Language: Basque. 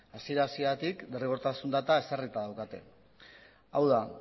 hasiera hasieratik derrigortasun data ezarrita daukate hau da